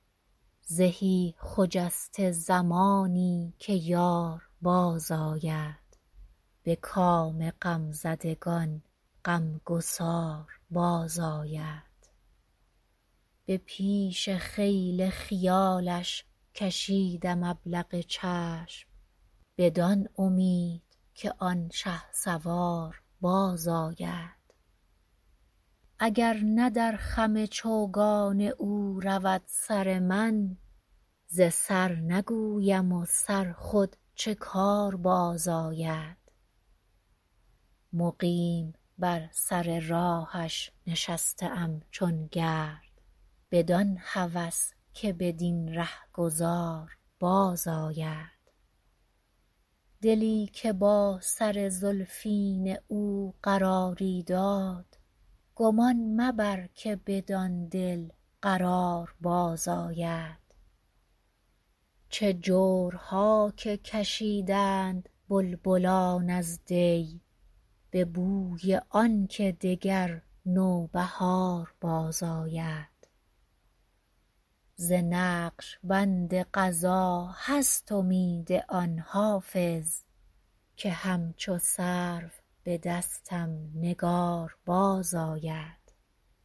زهی خجسته زمانی که یار بازآید به کام غمزدگان غمگسار بازآید به پیش خیل خیالش کشیدم ابلق چشم بدان امید که آن شهسوار بازآید اگر نه در خم چوگان او رود سر من ز سر نگویم و سر خود چه کار بازآید مقیم بر سر راهش نشسته ام چون گرد بدان هوس که بدین رهگذار بازآید دلی که با سر زلفین او قراری داد گمان مبر که بدان دل قرار بازآید چه جورها که کشیدند بلبلان از دی به بوی آن که دگر نوبهار بازآید ز نقش بند قضا هست امید آن حافظ که همچو سرو به دستم نگار بازآید